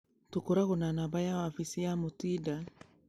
tũkoragwo na namba ya wabici ya mutinda